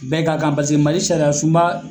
Bɛɛ ka kan paseke Mali sariya sunba